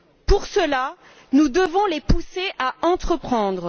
Pour cela, nous devons les pousser à entreprendre.